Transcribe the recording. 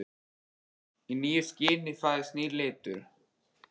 Í nýju skini fæðist nýr litur.